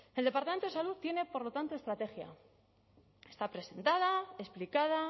el departamento de salud tiene por lo tanto estrategia está presentada explicada